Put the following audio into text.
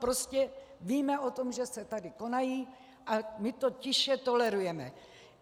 Prostě víme o tom, že se tady konají, a my to tiše tolerujeme.